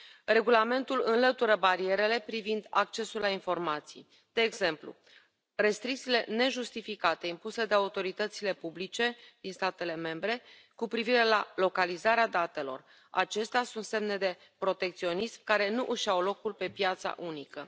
Regulamentul înlătură barierele privind accesul la informații, de exemplu restricțiile nejustificate impuse de autoritățile publice din statele membre cu privire la localizarea datelor acestea sunt semne de protecționism care nu își au locul pe piața unică